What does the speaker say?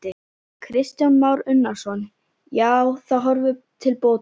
Kristján Már Unnarsson: Já, það horfir til bóta?